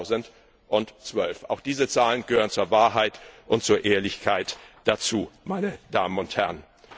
2012. Auch diese Zahlen gehören zur Wahrheit und zur Ehrlichkeit dazu, meine Damen und Herren.